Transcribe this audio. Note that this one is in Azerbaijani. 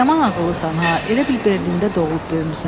Yaman ağıllısan ha, elə bil Berlində doğulub böyümüsən.